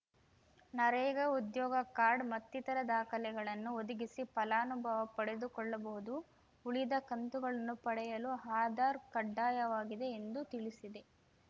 ನರೇಗಾ ಉದ್ಯೋಗ ಕಾರ್ಡ್‌ ಮತ್ತಿತರ ದಾಖಲೆಗಳನ್ನು ಒದಗಿಸಿ ಫಲಾನುಭವ ಪಡೆದುಕೊಳ್ಳಬಹುದು ಉಳಿದ ಕಂತುಗಳನ್ನು ಪಡೆಯಲು ಆಧಾರ್‌ ಕಡ್ಡಾಯವಾಗಿದೆ ಎಂದು ತಿಳಿಸಿದೆ